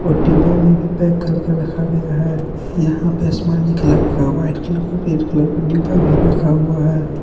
और डिब्बा में भी पैक करके रखा गया है यहां पे आसमानी कलर का व्हाइट कलर का रेड कलर का डिब्बा भी रखा हुआ है।